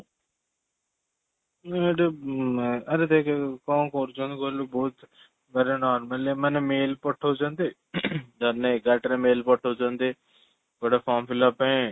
ନା ଅମ୍ ଆରେ ଦେଖ କ'ଣ କରୁଛନ୍ତି କହିଲୁ ବହୁତ ମାନେ normally ଆମେ ମାନେ mail ପଠାଉଛନ୍ତି ଜଣେ ଏଗାରଟାରେ mail ପଠାଉଛନ୍ତି ଗୋଟେ form fill up ପାଇଁ